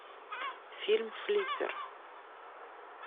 фильм флиппер